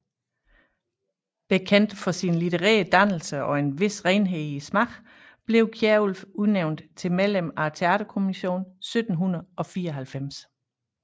Bekendt for sin litterære dannelse og en vis renhed i smagen blev Kierulf udnævnt til medlem af Teaterkommissionen 1794